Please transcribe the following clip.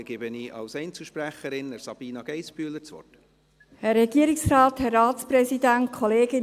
Dann gebe ich als Einzelsprecherin Sabina Geissbühler das Wort.